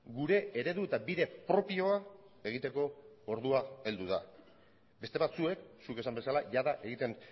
gure eredu eta bide propioa egiteko ordua heldu da beste batzuek zuk esan bezala jada egiten